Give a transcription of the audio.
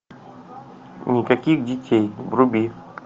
никаких детей вруби